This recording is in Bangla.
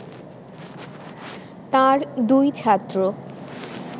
তাঁর দুই ছাত্র